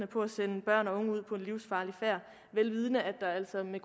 på at sende børn og unge ud på en livsfarlig færd vel vidende at der altså med